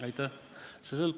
Aitäh!